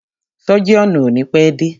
Sọ́jíọ̀nù o ni pẹ́ dé.